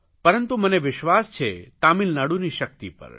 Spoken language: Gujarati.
પરંતુ મને વિશ્વાસ છે તમિલનાડુની શકિત પર